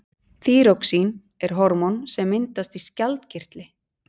þýróxín er hormón sem myndast í skjaldkirtli